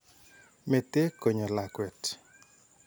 Mete konyo lakwet.